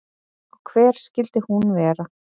Og hver skyldi hún vera?